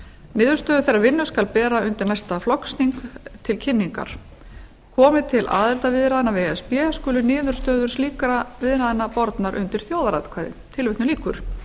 niðurstöður þeirrar vinnu skal bera undir næsta flokksþing til kynningar komi til aðildarviðræðna við e s b skulu niðurstöður slíkra viðræðna bornar undir þjóðaratkvæði tilvitnun lýkur